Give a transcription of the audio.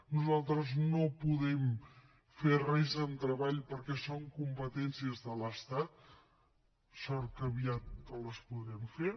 nosaltres no podem fer res en treball perquè són competències de l’estat sort que aviat les podrem fer